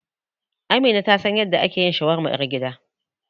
Amina ta san yadda ake yin shawarma ƴar gida.